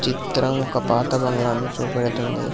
ఈ చిత్రం ఒక పాత బంగ్లాన్ని చూపెడుతుంది.